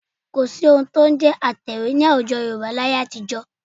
Kò sí ohun tí ó ń jẹ́ ẹ̀rọ atẹ̀wé ní àwùjọ Yorùbá láyé àtijọ́